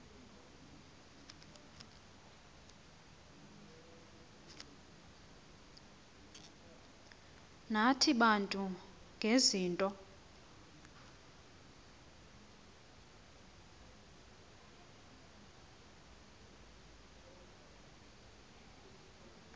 nathi bantu ngezinto